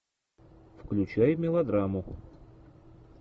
включай мелодраму